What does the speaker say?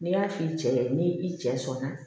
N'i y'a f'i cɛ ye ni i cɛ sɔnna